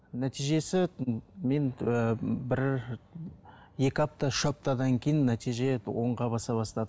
нәтижесі мен ііі бір екі апта үш аптадан кейін нәтиже оңға баса бастады